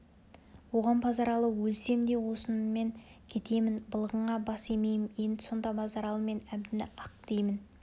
оған базаралы өлсем де осыныммен кетемін былығыңа бас имеймін дейді сонда базаралы мен әбдіні ақ деймін